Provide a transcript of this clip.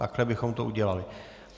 Takhle bychom to udělali.